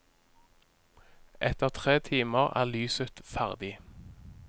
Etter tre timer er lyset ferdig.